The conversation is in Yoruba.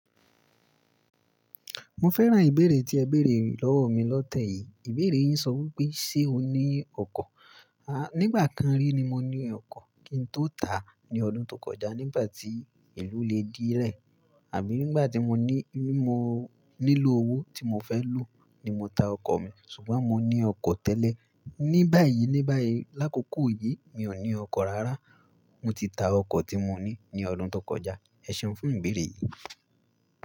Mo fẹ́ràn ìbéèrè tí ẹ béèrè lọ́wọ́ mi lọ́tẹ̀ yìí. Ìbéèrè yín sọ wípé, ṣe o ní ọkọ̀? À, nígbà kan rí ni mo ní ọkọ̀ kí n tó tà á ní ọdún tó kọjá nígbà tí ìlú le di ẹ̀. Àbí nígbà tí mo ní, mo nílò owó tí mo fẹ́ lò ní mo ta ọkọ̀ mi. Ṣùgbọ́n mo ní ọkọ̀ tẹ́lẹ̀. Ní báyìí ní báyìí, lákòókò yìí mi ò ní ọkọ̀ rárá. Mo ti ta ọkọ̀ tí mo ní ní ọdún tó kọjá. Ẹ ṣẹ́un fún ìbéèrè yìí.